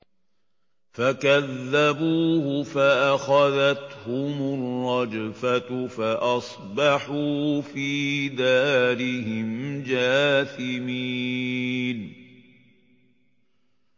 فَكَذَّبُوهُ فَأَخَذَتْهُمُ الرَّجْفَةُ فَأَصْبَحُوا فِي دَارِهِمْ جَاثِمِينَ